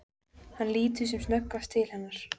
Hann lítur sem snöggvast til hennar.